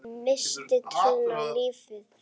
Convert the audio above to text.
Missti trúna á lífið.